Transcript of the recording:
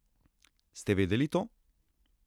Ste vedeli to?